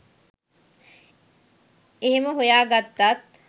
එහෙම හොයාගත්තත්